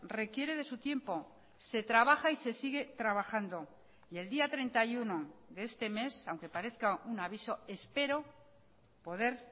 requiere de su tiempo se trabaja y se sigue trabajando y el día treinta y uno de este mes aunque parezca un aviso espero poder